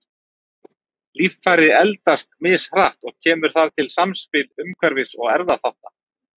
Líffæri eldast mishratt og kemur þar til samspil umhverfis- og erfðaþátta.